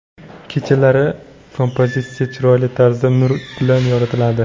Kechalari kompozitsiya chiroyli tarzda nur bilan yoritiladi.